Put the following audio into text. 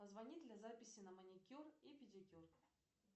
позвонит ли записи на маникюр и педикюр